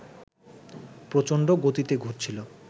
প্রচণ্ড গতিতে ঘুরছিল